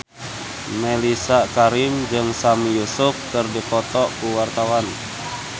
Mellisa Karim jeung Sami Yusuf keur dipoto ku wartawan